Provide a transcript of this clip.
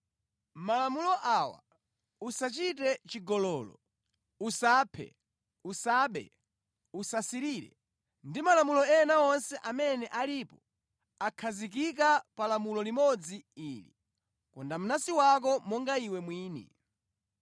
Malamulo awa: “Usachite chigololo,” “Usaphe,” “Usabe,” “Usasirire,” ndi malamulo ena onse amene alipo, akhazikika pa lamulo limodzi ili, “Konda mnansi wako monga iwe mwini.”